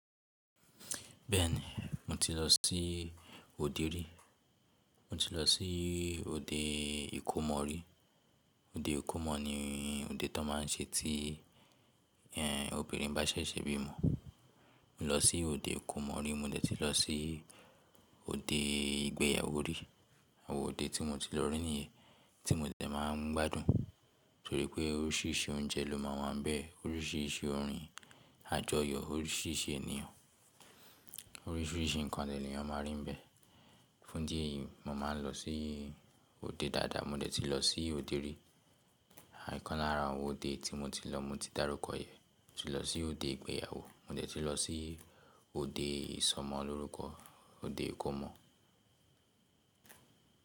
Bẹ́ẹ̀ni, mo ti lọ sí òde rí, mo ti lọ sí òde ìkómọ rí. Òde ìkómọ ni òde tó máa ń ṣe tí ẹ́ obìnrin bá ṣẹ̀ṣẹ̀ bímọ. Mo lọ sí òde ìkómọ rí, mo dẹ̀ tí lọ sí òde ìgbéyàwó rí. Àwọn òde tí mo ti lọ rí nìyẹn tí mo dẹ̀ máa ń gbádùn torí pé oríṣìíríṣìí oúnjẹ ló máa wà níbẹ̀, oríṣìíríṣìí orin àjọyọ̀, oríṣìíríṣìí ènìyàn, oríṣìíríṣìí nǹkan dẹ̀ní eyàn máa rí níbẹ̀. Fún ìdí ẹ̀yìí, mo máa ń lọ sí òde dáadáa, mo dẹ̀ tí lọ sí òde rí. À, ìkánlára àwọn òde tí mo ti lọ, mo ti dárúkọ ẹ̀. Moti lọ sí òde ìgbéyàwó mo dẹ̀ ti lọ sí òde ìsọmọ lórúkọ, òde ìkómọ.